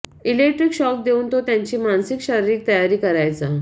electric shock देऊन तो त्यांची मानसिक शारीरिक तयारी करायचा